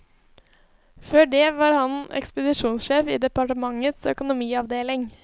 Før det var han ekspedisjonsjef i departementets økonomiavdeling.